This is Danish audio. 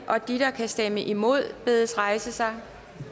de der kan stemme imod bedes rejse sig